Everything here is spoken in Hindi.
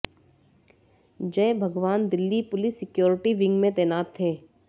जय Bhagwan Delhi police security wing में तैनात थे